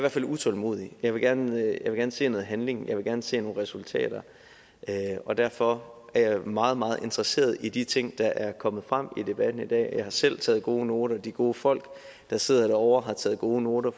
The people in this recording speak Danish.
utålmodig jeg vil gerne se noget handling jeg vil gerne se resultater og derfor er jeg meget meget interesseret i de ting der er kommet frem i debatten i dag jeg har selv taget gode noter de gode folk der sidder ovre har taget gode noter